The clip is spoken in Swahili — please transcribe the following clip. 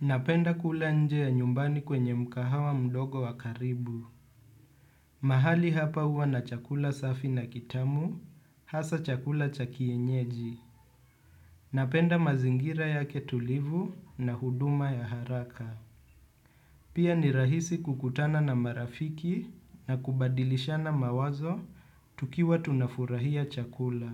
Napenda kula nje ya nyumbani kwenye mkahawa mdogo wa karibu. Mahali hapa huwa na chakula safi na kitamu, hasa chakula cha kienyeji. Napenda mazingira yake tulivu na huduma ya haraka. Pia ni rahisi kukutana na marafiki na kubadilishana mawazo tukiwa tunafurahia chakula.